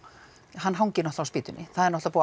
hann hangir á spýtunni það er náttúrulega